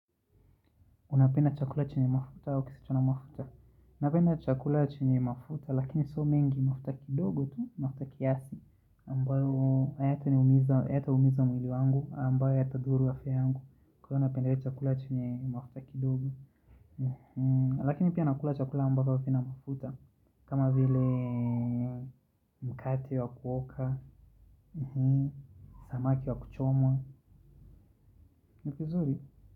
Unapenda chakula chenye mafuta au kisichona mafuta? Napenda chakula chenye mafuta, lakini sio mingi. Mafuta kidogo tu, mafuta kiasi ambayo hayataumiza mwili wangu, ambayo yatadhuru afya yangu. Kwa hio napendelea chakula chenye mafuta kidogo. Lakini pia nakula chakula ambavyo havina mafuta. Kama vile mkate wa kuoka, samaki wa kuchomwa, ni kizuri.